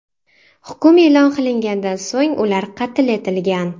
Hukm e’lon qilinganidan so‘ng ular qatl etilgan.